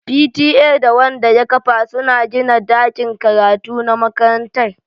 P.T.A da Wanda ya kafa suna gina dakin karatu na makarantar